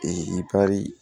ipari